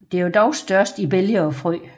Det er dog størst i bælge og frø